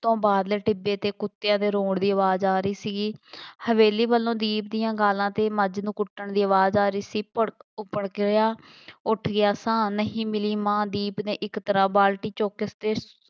ਤੋਂ ਬਾਹਰਲੇ ਟਿੱਬੇ 'ਤੇ ਕੁੱਤਿਆਂ ਦੇ ਰੌਣ ਦੀ ਆਵਾਜ਼ ਆ ਰਹੀ ਸੀਗੀ, ਹਵੇਲੀ ਵੱਲੋਂ ਦੀਪ ਦੀਆਂ ਗਾਲਾਂ ਅਤੇ ਮੱਝ ਨੂੰ ਕੁੱਟਣ ਦੀ ਆਵਾਜ਼ ਆ ਰਹੀ ਸੀ, ਭੁੜਕ ਉਹ ਭੜਕ ਗਿਆ, ਉੱਠ ਗਿਆ ਸਾਂ, ਨਹੀਂ ਮਿਲੀ ਮਾਂ, ਦੀਪ ਨੇ ਇੱਕ ਤਰ੍ਹਾਂ ਬਾਲਟੀ ਚੁੱਕ ਕੇ